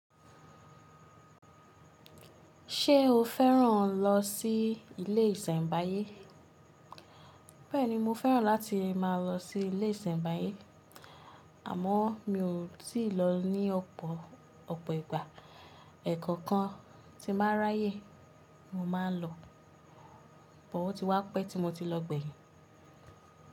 Ṣé o fẹ́ràn lọ sí ilé isenbaye. Bẹ́ẹ̀ni mo fẹ́ràn láti máa lọ sí ilé ìsènbáyé àmó mi ò tí ì lọ ní ọ̀pọ̀, ọ̀pọ̀ ìgbà. Ẹ̀ẹ̀kan kan tí n ba r'áyè mo máa ń lọ. But o ti wá pẹ́ tí mo ti lọ gbẹ̀yìn.